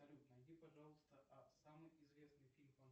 салют найди пожалуйста самый известный фильм